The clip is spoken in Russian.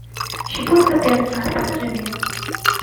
щепотка перца покажи мне